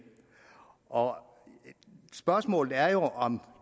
og spørgsmålet er jo om